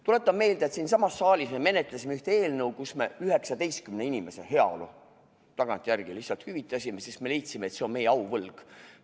Tuletan meelde, et siinsamas saalis me menetlesime ühte eelnõu, kus me 19 inimese heaolu tagantjärele lihtsalt hüvitasime, sest me leidsime, et see on meie auvõlg.